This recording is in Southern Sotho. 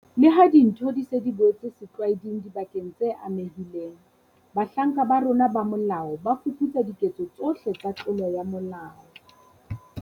Leha dintho di se di boetse setlwaeding dibakeng tse amehileng, bahlanka ba rona ba molao ba fuputsa diketso tsohle tsa tlolo ya molao.